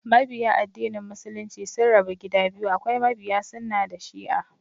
Mabiya addinin Muslunci sun rabu gida biyu, akwai mabiya sunnah da shi'a